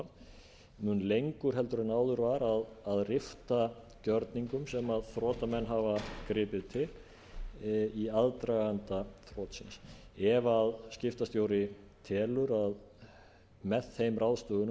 varð mun lengur heldur en áður var að rifta gjörningum sem þrotamenn hafa gripið til í aðdraganda þrotsins ef skiptastjóri telur að með þeim ráðstöfunum